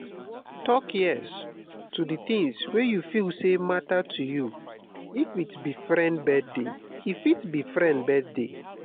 talk yes to di things wey you feel sey matter to you e fit be friend birthday